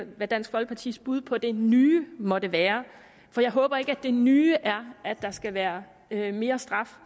hvad dansk folkepartis bud på det nye måtte være for jeg håber ikke det nye er at der skal være mere straf